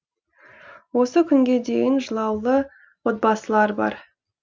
осы күнге дейін жылаулы отбасылар бар